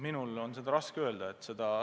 Minul on seda raske öelda.